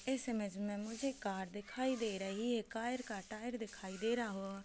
इस इमेज में मुझे कार दिखाई दे रही है कार का टायर दिखाई दे रहा हो औ--